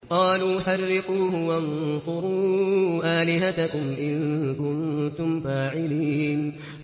قَالُوا حَرِّقُوهُ وَانصُرُوا آلِهَتَكُمْ إِن كُنتُمْ فَاعِلِينَ